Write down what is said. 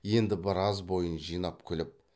енді біраз бойын жинап күліп